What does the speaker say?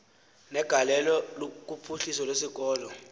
negalelo kuphuhliso lwesikolo